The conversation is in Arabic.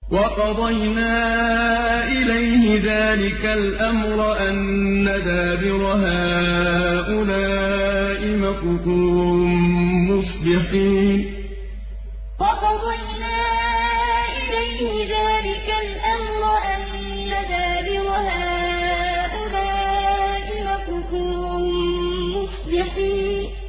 وَقَضَيْنَا إِلَيْهِ ذَٰلِكَ الْأَمْرَ أَنَّ دَابِرَ هَٰؤُلَاءِ مَقْطُوعٌ مُّصْبِحِينَ وَقَضَيْنَا إِلَيْهِ ذَٰلِكَ الْأَمْرَ أَنَّ دَابِرَ هَٰؤُلَاءِ مَقْطُوعٌ مُّصْبِحِينَ